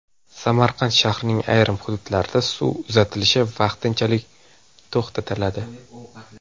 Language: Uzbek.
Samarqand shahrining ayrim hududlarida suv uzatilishi vaqtinchalik to‘xtatiladi.